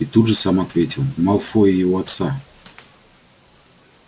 и тут же сам ответил малфоя и его отца